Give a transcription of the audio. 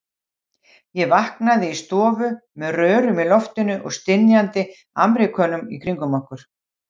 Ég vaknaði í stofu með rörum í loftinu og stynjandi Ameríkönum í kringum mig.